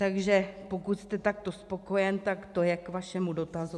Takže pokud jste takto spokojen, tak to je k vašemu dotazu.